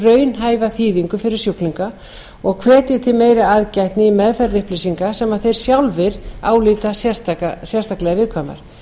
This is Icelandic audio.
raunhæfa þýðingu fyrir sjúklinga og hvetji til meiri aðgætni í meðferð upplýsinga sem þeir sjálfir álíta sérstaklega viðkvæmar